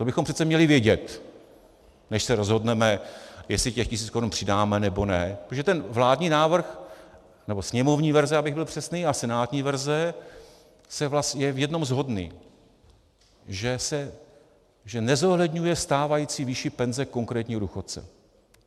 To bychom přece měli vědět, než se rozhodneme, jestli těch tisíc korun přidáme, nebo ne, protože ten vládní návrh, nebo sněmovní verze, abych byl přesný, a senátní verze je v jednom shodný, že nezohledňuje stávající výši penze konkrétního důchodce.